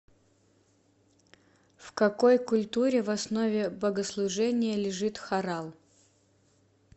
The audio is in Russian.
в какой культуре в основе богослужения лежит хорал